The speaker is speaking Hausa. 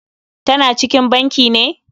Tana cikin banki ne?